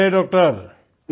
नमस्ते डॉक्टर